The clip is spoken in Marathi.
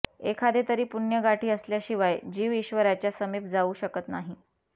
एखादें तरी पुण्य गाठी असल्याशिवाय जीव ईश्वराच्या समीप जाऊ शकत नाही